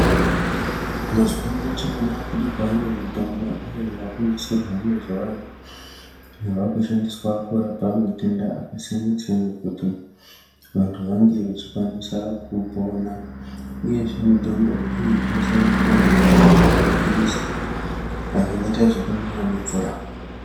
Mazuwano tinoona kuti kwava nemitombo iyo yakunasirwa mazuvano iyo yakushandiswa kurapa matenda akasiyana-siyana kuti vantu vange vachikwanisa kupona, Uyezve mitombo iyi inosanganisira mitombo yemaphirizi ayo anoita zvekumwiwa nemvura.